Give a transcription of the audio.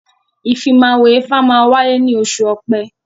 Ìfimáwo ifá máa wáyé ní oṣù ọ̀pẹ́